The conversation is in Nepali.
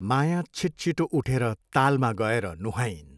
माया छिटछिटो उठेर तालमा गएर नुहाइन्।